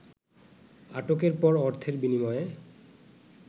আটকের পর অর্থের বিনিময়ে